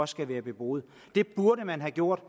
skal være beboede det burde man have gjort